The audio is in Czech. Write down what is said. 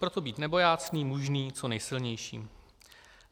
Proto být nebojácný, mužný, co nejsilnější.